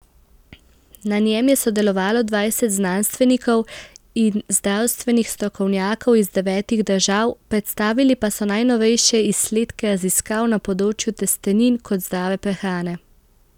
Na njem je sodelovalo dvajset znanstvenikov in zdravstvenih strokovnjakov iz devetih držav, predstavili pa so najnovejše izsledke raziskav na področju testenin kot zdrave prehrane.